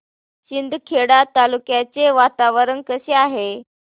शिंदखेडा तालुक्याचे वातावरण कसे आहे